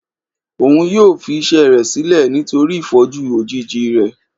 òún yóò fi iṣẹ rẹ sílẹ nítorí ìfọjú òjíji rẹ